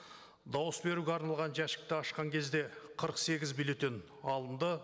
дауыс беруге арналған жәшікті ашқан кезде қырық сегіз бюллетень алынды